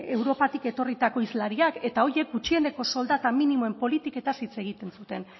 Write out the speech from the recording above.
europatik etorritako hizlariak eta horiek gutxieneko soldata minimoen politiketaz hitz egiten zuten